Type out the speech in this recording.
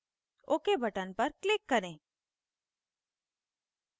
ok button पर click करें